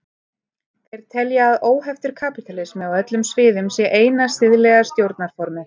Þeir telja að óheftur kapítalismi á öllum sviðum sé eina siðlega stjórnarformið.